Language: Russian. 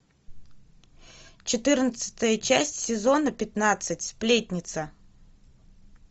четырнадцатая часть сезона пятнадцать сплетница